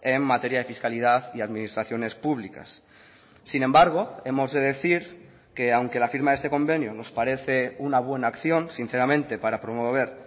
en materia de fiscalidad y administraciones públicas sin embargo hemos de decir que aunque la firma de este convenio nos parece una buena acción sinceramente para promover